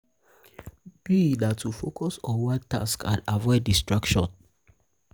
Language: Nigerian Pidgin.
me na to na to focus on one task and avoid distraction.